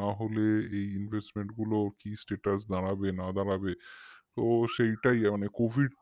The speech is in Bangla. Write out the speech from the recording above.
না হলে এই investment গুলোর কি status দাঁড়াবে বা না দাঁড়াবে সেইটাই মানে covid